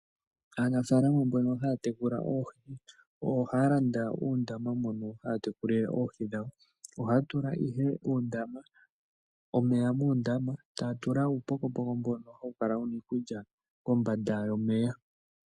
Aanafaalama mbono haya tekula oohi ohaya landa uundama mono haya tekulile oohi dhawo. Ohaya tula ihe omeya muundama etaya tula uupokopoko mbono hawu kala wu na iikulya kombanda yomeya.